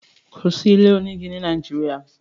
Kò sí ilé onígi ni orile-ede Nàìjíríà.